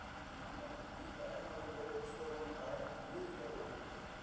Gat hann ekki líka enn orðið lögreglustjóranum að einhverju liði hér á landi?